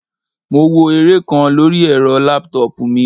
Mo wo eré kan lóri ẹ́rọ laptop mi.